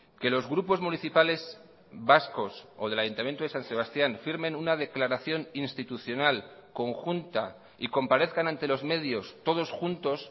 que los grupos municipales vascos o del ayuntamiento de san sebastián firmen una declaración institucional conjunta y comparezcan ante los medios todos juntos